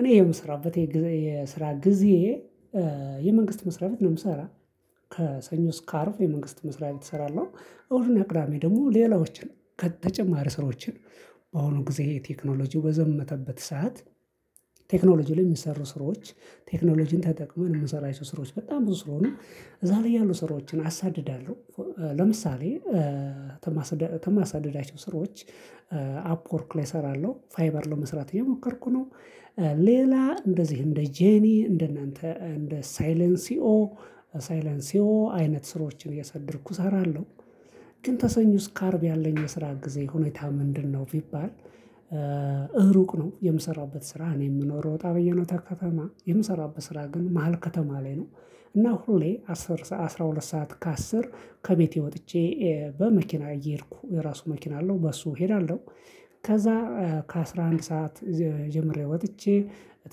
እኔ የምሰራበት የስራ ግዜየ የመንግስት መስራት ነው የምሰራ ከሰኞ ስካአርብ የመንግስት መስሪያ ላይ እሰራለሁ። እሁድና ቅዳሜ ደግሞ ሌላዎችን ከተጨማሪ ስራዎችን። በአሁኑ ጊዜ ቴክኖሎጂው በዘመተበት ሰዓት። ቴክኖሎጂው ላይ የሚሰሩ ስራዎች ቴክኖሎጂን ተጠቅመን የምንሰራቸው ስራዎች በጣም ብዙ ስለሆኑ እዛ ላይ ያሉ ስራዎችን አሳድዳለሁ። ለምሳሌ ተማሳድዳቸው ስራዋች አፕወርክ ላይ እሰራለሁ ፋይበር ለመስራት የሞከርኩ ነው። ሌላ እንደዚህ እንደ ጄኒ እንደ እናንተ እንደ ሳይለን ሲኦ ሳይለን ሲኦ አይነት ስራዋችን እያሳደድኩ እሰራለሁ። ግን ተሰኞ ስካአርብ ያለኝ የስራ ጊዜ ሁኔታ ምንድነው ቢባል? እሩቅ ነው የምሰራበት ስራ እኔ የምኖር ወጣ በየነው ከተማ የምሰራበት ስራ ግን መሃል ከተማ ላይ ነው። እና ሁሌ አስራ ሁለት ሰዓት ከአስር ከቤቴ ወጥቼ በመኪና እየሄድኩ የራሱ መኪና አለው በሱ እሄዳለሁ። ከዛ ከአሥራ አንድ ሰዓት ጀምሬ ወጥቼ